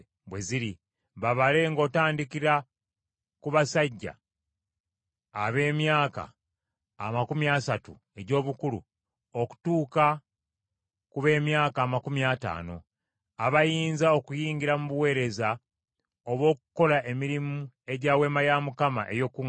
Babale ng’otandikira ku basajja ab’emyaka amakumi asatu egy’obukulu okutuuka ku b’emyaka amakumi ataano, abayinza okuyingira mu buweereza obw’okukola emirimu egya Weema ey’Okukuŋŋaanirangamu.